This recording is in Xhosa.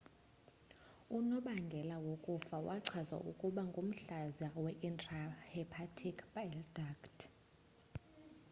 unobangela wokufa wachazwa ukuba ngumhlaza we-intrahepatic bile duct